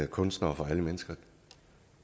kunstnere og for mennesker